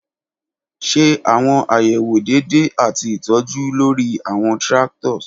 Ṣe awọn ayewo deede ati itọju lori awọn tractors.